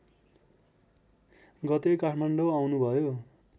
गते काठमाडौँ आउनुभयो